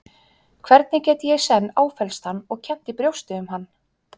Hvernig get ég í senn áfellst hann og kennt í brjósti um hann?